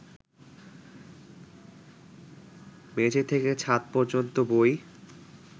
মেঝে থেকে ছাদ পর্যন্ত বই